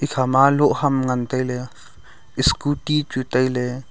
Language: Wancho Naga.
khama lohham ngan taile scooty chu taile.